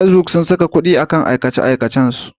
Facebook sun saka kuɗi a kan aikace-aikacensu.